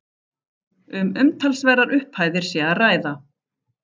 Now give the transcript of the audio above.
Um umtalsverðar upphæðir sé að ræða